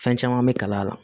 Fɛn caman bɛ kalaya la